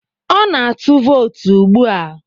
Ọ na-atụ vootu ugbu a.